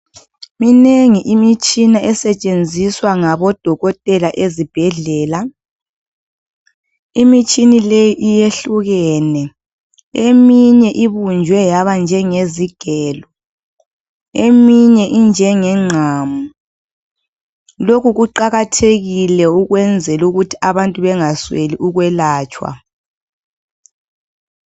Minengi imitshina esetshenziswa ngabo dokotela ezibhedlela. Imitshina leyi iyehlukene eminye ibunjwe yaba njenge zigelo, eminye injenge ngqamu. Lokhu kuqakathekile ukwenzela ukuthi abantu bengasweli ukwelatshwa.